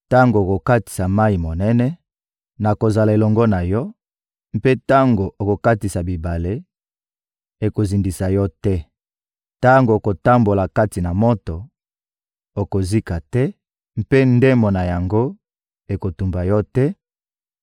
Tango okokatisa mayi monene, nakozala elongo na yo; mpe tango okokatisa bibale, ekozindisa yo te. Tango okotambola kati na moto, okozika te, mpe ndemo na yango ekotumba yo te;